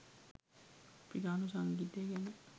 අප්‍රිකානු සංගීතය ගැන